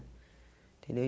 Entendeu? E